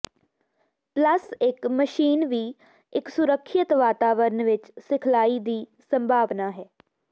plus ਇਕ machine ਵੀ ਇੱਕ ਸੁਰੱਖਿਅਤ ਵਾਤਾਵਰਨ ਵਿੱਚ ਸਿਖਲਾਈ ਦੀ ਸੰਭਾਵਨਾ ਹੈ